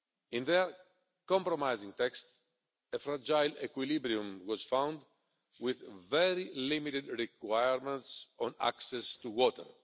In their compromise text, a fragile equilibrium was found, with very limited requirements on access to water.